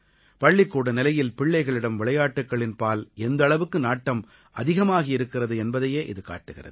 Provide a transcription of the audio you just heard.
பள்ளிக்கூட நிலையில் பிள்ளைகளிடம் விளையாட்டுக்களின்பால் எந்த அளவுக்கு நாட்டம் அதிகமாகி இருக்கிறது என்பதையே இது காட்டுகிறது